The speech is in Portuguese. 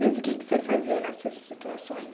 Mas o que que você fazia nessas situações?